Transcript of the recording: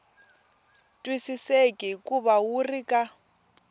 twisiseki hikuva wu ri ka